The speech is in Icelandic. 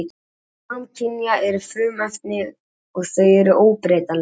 Samkynja efni eru frumefni og þau eru óbreytanleg.